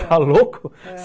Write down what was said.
Está louco? ãh